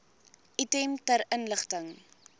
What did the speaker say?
item ter inligting